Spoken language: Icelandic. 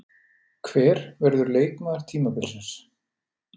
Hver verður leikmaður tímabilsins?